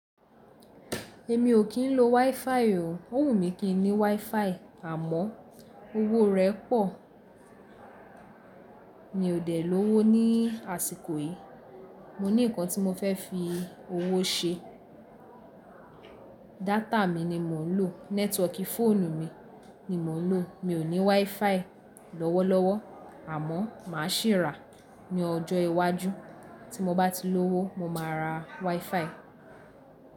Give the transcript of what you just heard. Èmi ò kí ń lo WiFi o. Ó wù mí kí n ní WiFi àmọ́ owó rẹ̀ pọ̀. Mi ò dẹ̀ lówó ní àsìkò yìí. Mo ní ǹkan tí mo fẹ́ fi owó ṣe. Data mi ni mò ń lò. Networkí fóònù mi ni mò ń lò. Mi ò ní WiFi lọ́wọ́lọ́wọ́ àmọ́ mà á sì rà á ní ọjọ́ iwájú. Tí mo bá ti lówó, mo máa ra WiFi.